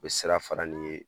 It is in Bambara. U bɛ sira fara n'i ye